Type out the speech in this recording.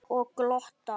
Og glotta.